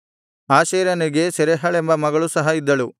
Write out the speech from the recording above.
ಆಶೇರನಿಗೆ ಸೆರಹಳೆಂಬ ಮಗಳು ಸಹ ಇದ್ದಳು